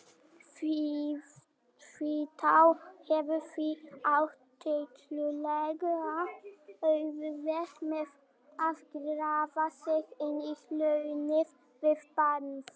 Hvítá hefur því átt tiltölulega auðvelt með að grafa sig inn í hraunið við Barnafoss.